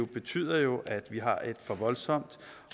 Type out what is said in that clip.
betyder jo at vi har et for voldsomt